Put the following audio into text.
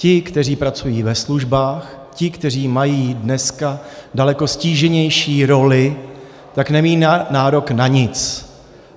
Ti, kteří pracují ve službách, ti, kteří mají dneska daleko ztíženější roli, tak nemají nárok na nic.